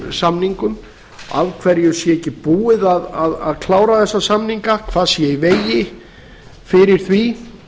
samningum af hverju sé ekki búið að klára þessa samninga hvað sé í vegi fyrir því